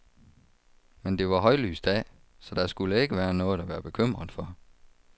Men det var højlys dag, så der skulle ikke være noget at være bekymret for.